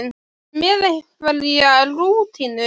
Ertu með einhverja rútínu?